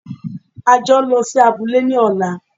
A jọ ń lọ sí abúlé ní ọ̀la!